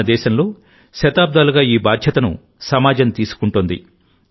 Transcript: మన దేశంలోశతాబ్దాలుగాఈ బాధ్యతను సమాజం తీసుకుంటోంది